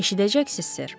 Eşidəcəksiz, Sir.